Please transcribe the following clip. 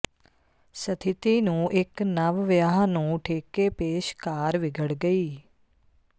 ਸਥਿਤੀ ਨੂੰ ਇੱਕ ਨਵ ਵਿਆਹ ਨੂੰ ਠੇਕੇ ਪੇਸ਼ਕਾਰ ਵਿਗੜ ਗਈ